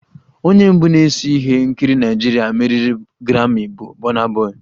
Onye mbụ na-ese ihe nkiri Naịjirịa meriri grammi bụ burna boy